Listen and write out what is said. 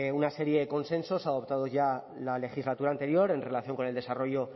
una serie de consensos adoptados ya en la legislatura anterior en relación con el desarrollo